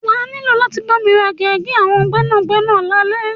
Wà á ní láti bámi ra gègé àwọn gbẹ́nàgbẹ́nà lálẹ́.